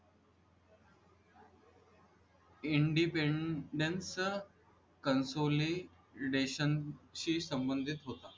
independence consolidation शी संबधित होता